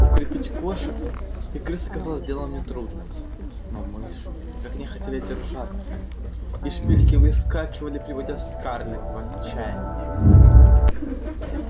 укрепить кошек и крыс оказалось делом нетрудным но мыши никак не хотели держаться и шпильки выскакивали приводя скарлетт в отчаяние